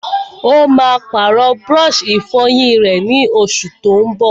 Ó máa pàrọ̀ búrọ́sì-ìfọyín rẹ̀, ní oṣù tó n bọ̀.